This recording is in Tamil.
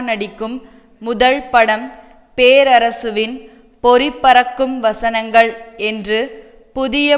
நடிக்கும் முதல் படம் பேரரசுவின் பொறிபறக்கும் வசனங்கள் என்று புதிய